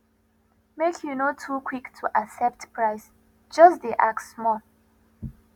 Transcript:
make you no too quick to accept price just dey ask small